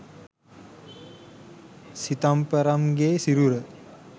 සිතම්පරම්ගේ සිරුර